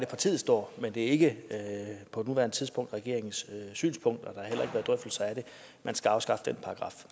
partiet står men det er ikke på nuværende tidspunkt regeringens synspunkt at man skal afskaffe den paragraf